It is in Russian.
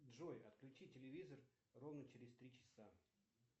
джой отключи телевизор ровно через три часа